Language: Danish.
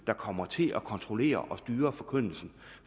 der kommer til at kontrollere og styre forkyndelsen